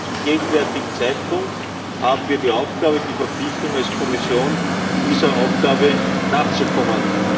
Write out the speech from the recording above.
Zum gegenwärtigen Zeitpunkt haben wir die Aufgabe, die Verpflichtung, als Kommission dieser Aufgabe nachzukommen.